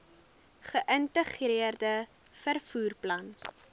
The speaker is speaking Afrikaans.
geïntegreerde vervoer plan